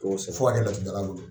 ko sɛbɛ fɔ ka kɛ laturudalabolo